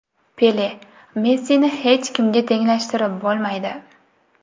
Pele: Messini hech kimga tenglashtirib bo‘lmaydi.